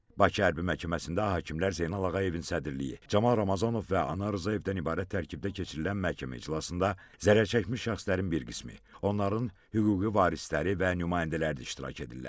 Bakı Hərbi Məhkəməsində hakimlər Zeynal Ağayevin sədrliyi, Camal Ramazanov və Anar Rzayevdən ibarət tərkibdə keçirilən məhkəmə iclasında zərərçəkmiş şəxslərin bir qismi, onların hüquqi varisləri və nümayəndələri də iştirak edirlər.